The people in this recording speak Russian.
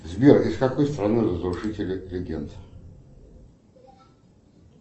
сбер из какой страны разрушители легенд